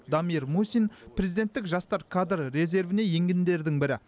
дамир мусин президенттік жастар кадр резервіне енгендердің бірі